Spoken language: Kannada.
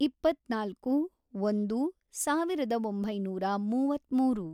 ಇಪ್ಪತ್ನಾಲ್ಕು, ಒಂದು, ಸಾವಿರದ ಒಂಬೈನೂರ ಮೂವತ್ಮೂರು